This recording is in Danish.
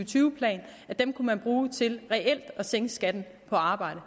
tyve plan kunne man bruge til reelt at sænke skatten på arbejde